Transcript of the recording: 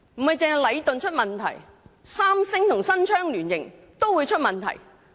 不單禮頓出現問題，連三星新昌也出現問題。